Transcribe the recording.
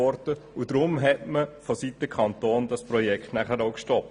Deshalb wurde das Projekt von Seiten des Kantons gestoppt.